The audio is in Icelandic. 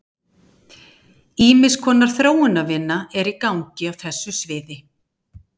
Ýmiss konar þróunarvinna er í gangi á þessu sviði.